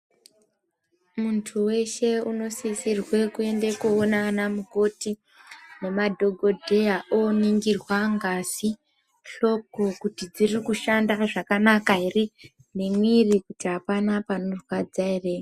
Muntu weshe unosisirwe kuende koone ana mukoti nemadhokodheya oningirwa ngazi, hloko kuti dziri kushanda zvakanaka ere nemwiri kuti apana panorwadza ere.